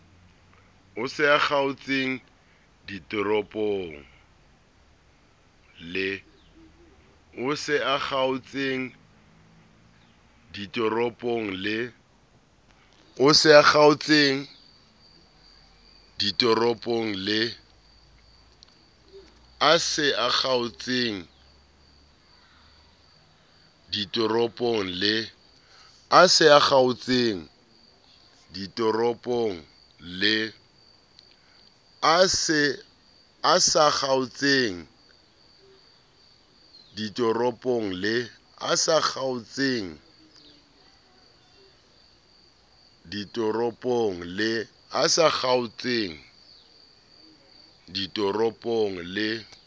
e sa kgaotseng ditoropong le